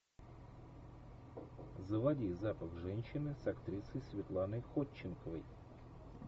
заводи запах женщины с актрисой светланой ходченковой